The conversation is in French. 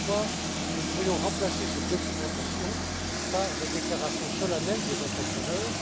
Voilà pourquoi nous pourrions remplacer cette documentation par des déclarations solennelles des entrepreneurs.